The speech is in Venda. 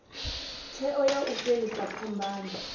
tsheo ya u fhelisa phambano